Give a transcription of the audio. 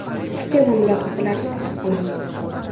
Fikr va mulohazalarni kutib qolamiz.